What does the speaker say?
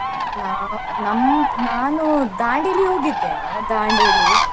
ನಾ ನಮ್~ ನಾನೂ Dandeli ಹೋಗಿದ್ದೆನೆ, .